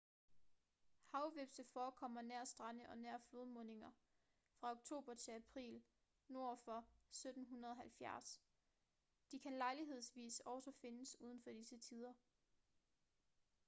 havhvepse forekommer nær strande og nær flodmundinger fra oktober til april nord for 1770. de kan lejlighedsvis også findes uden for disse tider